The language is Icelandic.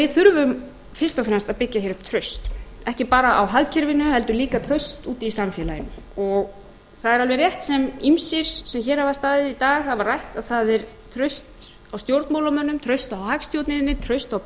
þurfum fyrst og fremst að byggja hér upp traust ekki bara á hagkerfinu heldur líka traust úti í samfélaginu það er alveg rétt sem ýmsir sem hér hafa staðið í dag hafa rætt að það er traust á stjórnmálamönnum traust á hagstjórninni traust á